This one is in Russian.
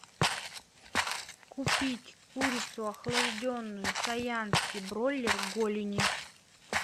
купить курицу охлажденную саянский бройлер голени